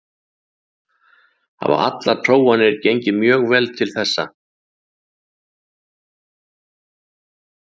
Hafa allar prófanir gengið mjög vel til þessa.